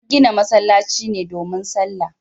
An gina masallaci ne domin salla